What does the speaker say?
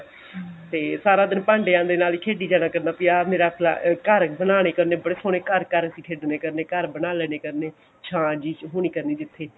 ਤੇ ਫੇਰ ਸਾਰਾ ਦਿਨ ਭਾਂਡਿਆ ਦੇ ਨਾਲ ਖੇਡੀ ਜਾਣਾ ਕਰਨਾ ਵੀ ਆਹ ਮੇਰਾ ਘਰ ਬਨਾਨੇ ਕਰਨੇ ਬੜੇ ਸੋਹਣੇ ਘਰ ਘਰ ਅਸੀਂ ਖੇਡਣੇ ਕਰਨੇ ਘਰ ਬਣਾ ਲੇਣੇ ਕਰਨੇ ਛਾਂ ਜੀ ਚ ਹੋਣੀ ਜਿੱਥੇ ਕਰਨੇ